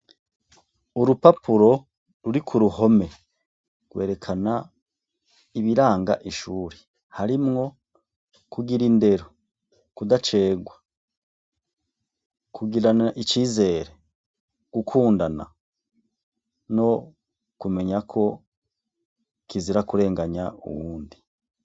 Urupapuro ruri kuruhome gwerekana ibiranga ishure harimwo kugira indero, kudacegwa, kugirana icizere, gukundana no kumenya ko kizira kurenganya uwundi.